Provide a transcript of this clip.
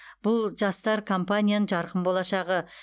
бұл жастар компанияның жарқын болашағы